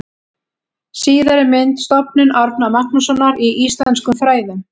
Síðari mynd: Stofnun Árna Magnússonar í íslenskum fræðum.